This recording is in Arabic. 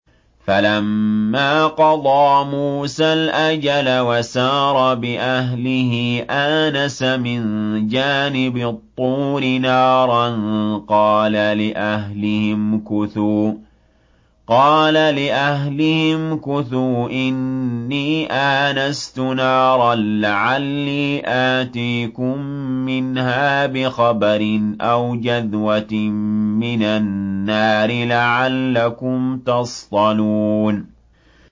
۞ فَلَمَّا قَضَىٰ مُوسَى الْأَجَلَ وَسَارَ بِأَهْلِهِ آنَسَ مِن جَانِبِ الطُّورِ نَارًا قَالَ لِأَهْلِهِ امْكُثُوا إِنِّي آنَسْتُ نَارًا لَّعَلِّي آتِيكُم مِّنْهَا بِخَبَرٍ أَوْ جَذْوَةٍ مِّنَ النَّارِ لَعَلَّكُمْ تَصْطَلُونَ